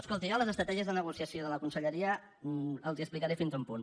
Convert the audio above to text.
escolti jo les estratègies de negociació de la conselleria les hi explicaré fins a un punt